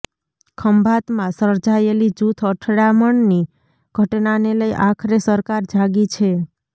ખંભાતમાં સર્જાયેલી જૂથ અથડામણની ઘટનાને લઈ આખરે સરકાર જાગી છે